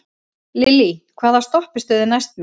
Lillý, hvaða stoppistöð er næst mér?